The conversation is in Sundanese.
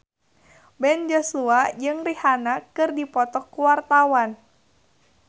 Ben Joshua jeung Rihanna keur dipoto ku wartawan